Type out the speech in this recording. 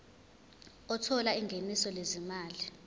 othola ingeniso lezimali